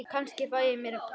Kannski fæ ég mér kött.